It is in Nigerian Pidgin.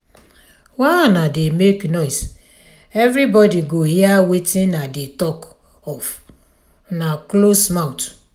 why una dey make noise everybody go hear wetin i dey talk of una close mouth.